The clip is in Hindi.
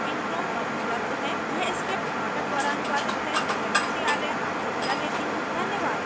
यह स्क्रिप्ट प्रभाकर द्वारा अनुवादित है मैं श्रुति आर्य आपसे विदा लेती हूँ हमसे जुड़ने के लिए धन्यवाद